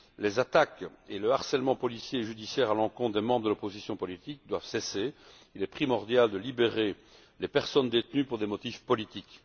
Les attaques et le harcèlement policier et judiciaire à l'encontre des membres de l'opposition politique doivent cesser, et il est primordial de libérer les personnes détenues pour des motifs politiques.